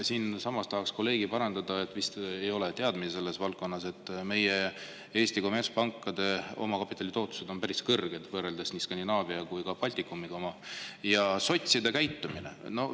Siin tahaks parandada kolleegi, kellel vist ei ole teadmisi selles valdkonnas, et meie Eesti kommertspankade omakapitali tootlus on päris kõrge, võrreldes nii Skandinaavia kui ka Baltikumi pankadega.